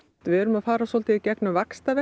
við erum að fara svolítið í gegnum